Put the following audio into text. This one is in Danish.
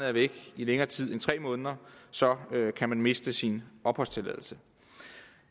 er væk i længere tid end tre måneder så kan miste sin opholdstilladelse